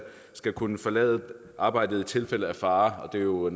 skal kunne forlade arbejdet i tilfældet af fare det er noget